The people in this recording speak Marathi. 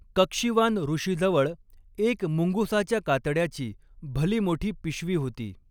कक्षीवान ऋषीजवळ एक मुंगसाच्या कातड्याची भली मोठी पिशवी होती.